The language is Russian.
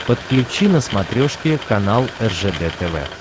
подключи на смотрешке канал ржд тв